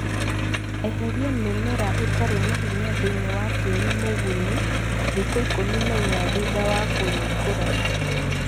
Eheria mĩmera ĩtarĩ na hinya thĩini wa tĩri mũgunyu thikũ ikũmi na inya thutha wa kũringũra